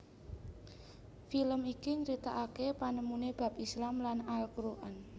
Film iki nyeritaake panemune bab Islam lan Al Quran